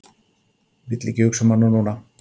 Vill ekki hugsa um hana núna.